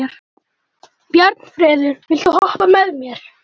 Bjarnfreður, viltu hoppa með mér?